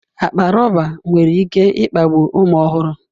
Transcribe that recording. Akpa rọba nwere ike kpagbuo ụmụ ọhụrụ.